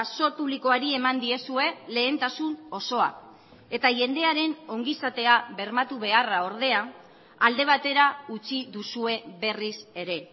zor publikoari eman diezue lehentasun osoa eta jendearen ongizatea bermatu beharra ordea alde batera utzi duzue berriz ere